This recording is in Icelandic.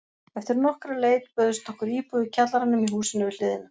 Eftir nokkra leit bauðst okkur íbúð í kjallaranum í húsinu við hliðina.